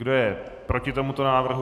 Kdo je proti tomuto návrhu?